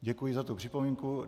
Děkuji za tu připomínku.